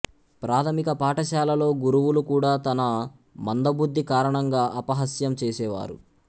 ప్రాథమిక పాఠశాలలో గురువులు కూడా తన మందబుద్ధి కారణంగా అపహాస్యం చేసేవారు